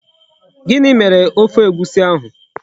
Gini mere Ofe Egwusi ahu?